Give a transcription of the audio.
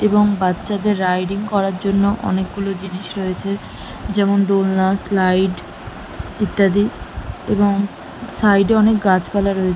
এবং বাচ্চাদের রাইডিং করার জন্য অনেক গুলো জিনিস রয়েছে যেমন দোলনা স্লাইড ইত্যাদি এবং সাইড এ অনেক গাছপালা রয়ে--